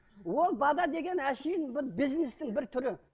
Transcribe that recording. ол деген әшейін бір бизнестің бір түрі